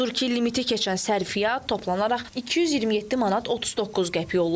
Odur ki, limiti keçən sərfiyat toplanaraq 227 manat 39 qəpik olub.